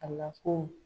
A la ko